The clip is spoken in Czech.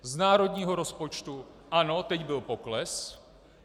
Z národního rozpočtu, ano, teď byl pokles.